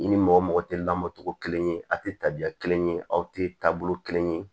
I ni mɔgɔ mɔgɔ tɛ lamɔ cogo kelen ye aw tɛ tabiya kelen ye aw tɛ taabolo kelen ye